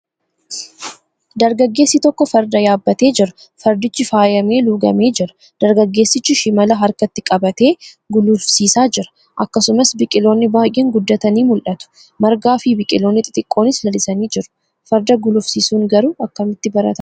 Dargaggeessi tokko farda yaabbatee jira. Fardichi faayamee luugamee jira. Dargaggeessichi shimala harkatti qabatee gulufsiisaa jira. Akkasumas biqiloonni baay'een guddatanii mul'atu. Margaafi biqiloonni xixiqqoonis lalisanii jiru. Farda gulufsiisuun garuu akkamitti baratama?